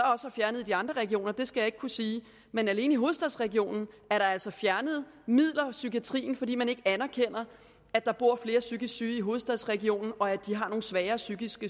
har fjernet i de andre regioner skal jeg ikke kunne sige men alene i hovedstadsregionen er der altså fjernet midler i psykiatrien fordi man ikke anerkender at der bor flere psykisk syge i hovedstadsregionen og at de har nogle sværere psykiske